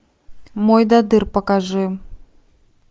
мойдодыр покажи